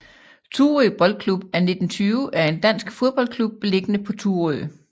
Thurø Boldklub af 1920 er en dansk fodboldklub beliggende på Thurø